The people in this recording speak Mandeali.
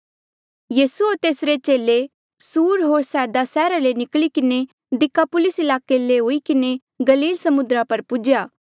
यीसू होर तेसरे चेले फेरी से सुर होर सैदा सैहरा ले निकली किन्हें दिकापुलिस ईलाके ले हुई किन्हें गलील समुद्रा पर पुज्हेया